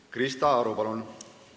Krista Aru, palun!